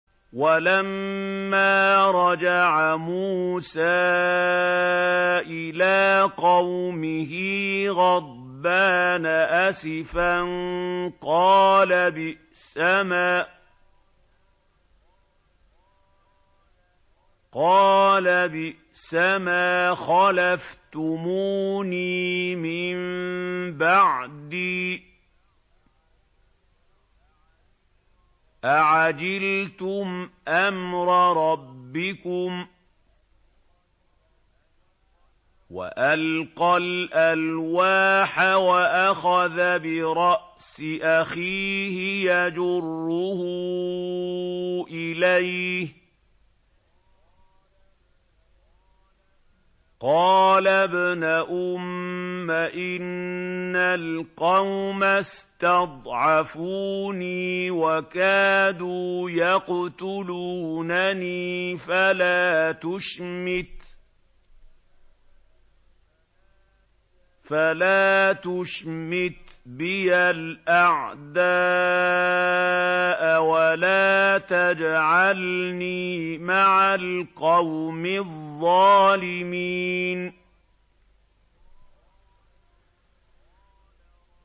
وَلَمَّا رَجَعَ مُوسَىٰ إِلَىٰ قَوْمِهِ غَضْبَانَ أَسِفًا قَالَ بِئْسَمَا خَلَفْتُمُونِي مِن بَعْدِي ۖ أَعَجِلْتُمْ أَمْرَ رَبِّكُمْ ۖ وَأَلْقَى الْأَلْوَاحَ وَأَخَذَ بِرَأْسِ أَخِيهِ يَجُرُّهُ إِلَيْهِ ۚ قَالَ ابْنَ أُمَّ إِنَّ الْقَوْمَ اسْتَضْعَفُونِي وَكَادُوا يَقْتُلُونَنِي فَلَا تُشْمِتْ بِيَ الْأَعْدَاءَ وَلَا تَجْعَلْنِي مَعَ الْقَوْمِ الظَّالِمِينَ